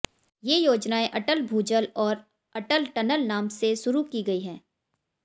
ये योजनाएं अटल भूजल और अटल टनल नाम से शुरू की गई है